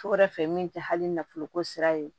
So wɛrɛ fɛ min tɛ hali nafolo ko sira ye